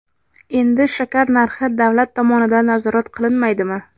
Endi shakar narxi davlat tomonidan nazorat qilinmaydimi?.